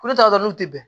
Ko ne ta dɔn n'u tɛ bɛn